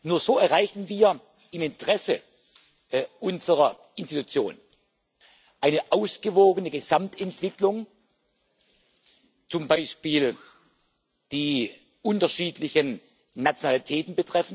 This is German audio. Nur so erreichen wir im Interesse unserer Institution eine ausgewogene Gesamtentwicklung, zum Beispiel betreffend die unterschiedlichen Nationalitäten.